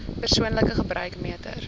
persoonlike gebruik meter